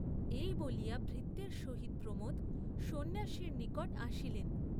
এই বলিয়া ভৃত্যের সহিত প্রমোদ সন্ন্যাসীর নিকট আসিলেন।